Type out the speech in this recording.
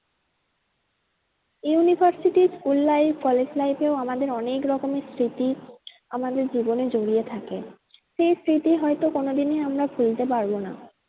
University school life college life এও আমাদের অনেক রকমের স্মৃতি আমাদের জীবনে জড়িয়ে থাকে। সেই স্মৃতি হয়তো আমরা কোনো দিনই আমরা ভুলতে পারবো না।